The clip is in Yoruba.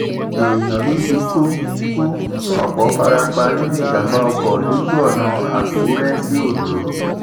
èèyàn méjì ku ku ọpọ fara pa nínú ìjàmbá ọkọ lójú ọnà àkùrẹ sí ondo